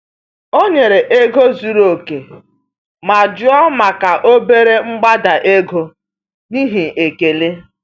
O nyere ego zuru oke ma jụọ maka obere mgbada ego n’ihi ekele.